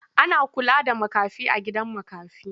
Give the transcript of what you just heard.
Ana kula da makafi a gidan makafi.